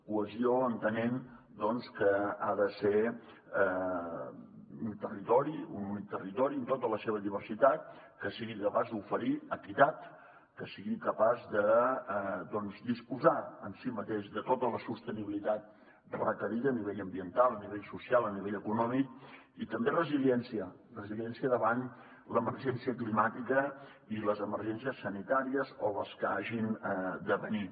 cohesió entenent que ha de ser un territori un únic territori en tota la seva diversitat que sigui capaç d’oferir equitat que sigui capaç de disposar en si mateix de tota la sostenibilitat requerida a nivell ambiental a nivell social a nivell econòmic i també resiliència resiliència davant l’emergència climàtica i les emergències sanitàries o les que hagin de venir